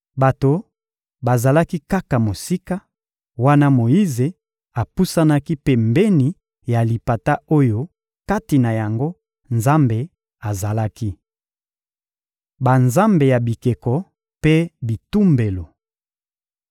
Bato bazalaki kaka mosika, wana Moyize apusanaki pembeni ya lipata oyo kati na yango Nzambe azalaki. Banzambe ya bikeko mpe bitumbelo